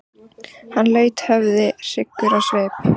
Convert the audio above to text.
Hann laut höfði hryggur á svip.